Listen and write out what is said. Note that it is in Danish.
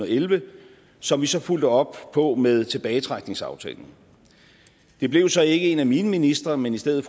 elleve som vi så fulgte op på med tilbagetrækningsaftalen det blev så ikke en af mine ministre men i stedet